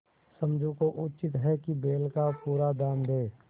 समझू को उचित है कि बैल का पूरा दाम दें